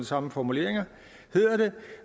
samme formuleringer hedder det